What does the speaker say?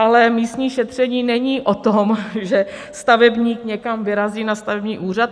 Ale místní šetření není o tom, že stavebník někam vyrazí na stavební úřad.